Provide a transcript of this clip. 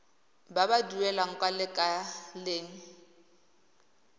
ba ba duelang kwa lekaleng